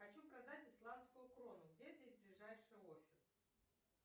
хочу продать исламскую крону где здесь ближайший офис